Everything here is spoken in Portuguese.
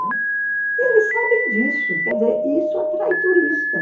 E eles sabem disso, quer dizer, isso atrai turista, né?